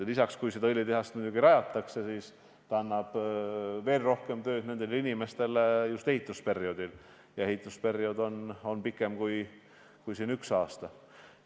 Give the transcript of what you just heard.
Lisaks, kui õlitehast rajama hakatakse, annab see inimestele rohkem tööd ka ehitusperioodil, mis on pikem kui üks aasta.